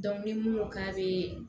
ni mun ko k'a bɛ